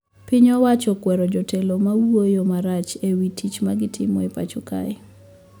Piny owacho okwero jotelo mawuoyo marach e wii tich magitimo e pacho kae